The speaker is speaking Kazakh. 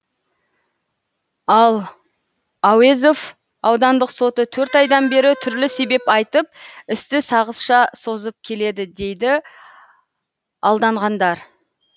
ал әуезов аудандық соты төрт айдан бері түрлі себеп айтып істі сағызша созып келеді дейді алданғандар